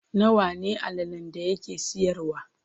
Nawa ne allalen da yake siyarwa?